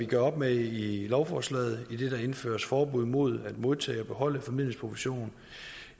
gør op med i lovforslaget idet der indføres forbud mod at modtage og beholde formidlingsprovision